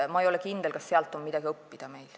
Ma ei ole kindel, kas meil sealt on midagi õppida.